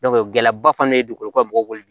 gɛlɛyaba fana ye dugukolo bɔgɔ